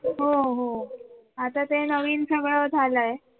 हो हो आता ते नवीन सगळे झाला आहे.